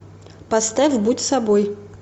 поставь будь собой